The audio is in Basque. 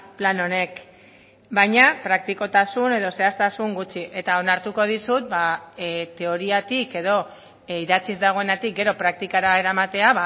plan honek baina praktikotasun edo zehaztasun gutxi eta onartuko dizut teoriatik edo idatziz dagoenetik gero praktikara eramatea